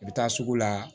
I bɛ taa sugu la